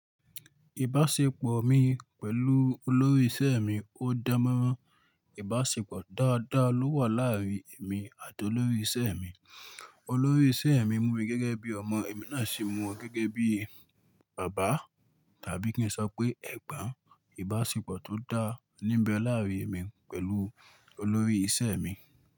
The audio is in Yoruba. Ìbáṣepọ̀ mi pẹ̀lú olórí ìṣe mi ó dára mọ́. Ìbáṣepọ̀ dáadáa ló wà láàárín èmi àti olórí ìṣe mi. Olórí ìṣe mi mú mi gẹ́gẹ́ bí ọmọ, èmi náà sì mú u gẹ́gẹ́ bí bàbá. Tàbí kí n sọ pé ẹ̀gbọ́n. Ìbáṣepọ̀ tó dáń ní ń bẹ láàárín èmi pẹ̀lú olórí ìṣe mi.